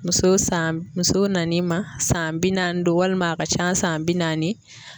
Muso san muso nanin ma san bi naani don walima a ka can san bi naani.